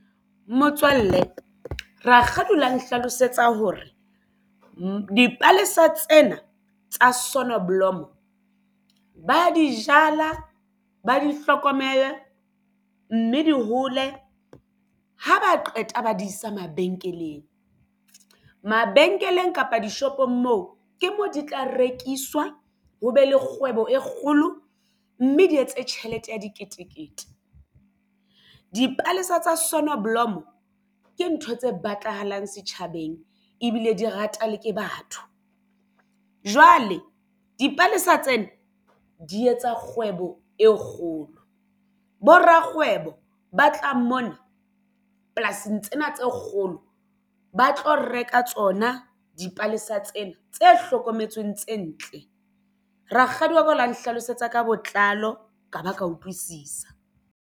Motswalle rakgadi o la nhlalosetsa hore dipalesa tsena tsa sonoblomo ba ya di jala ba di hlokomela mme di hole ha ba qeta ba di isa mabenkeleng, mabenkeleng kapa dishopong moo ke moo di tla rekiswa ho be le kgwebo e kgolo, mme di etse tjhelete ya diketekete dipalesa tsa sonneblom ke ntho tse batlahalang setjhabeng ebile di ratwa le ke batho. Jwale dipalesa tsena di etsa kgwebo e kgolo bo rakgwebo ba tlang mona polasing tsena tse kgolo ba tlo reka tsona dipalesa tsena tse hlokometsweng tse ntle rakgadi o la nhlalosetsa ka botlalo ka ba ka utlwisisa.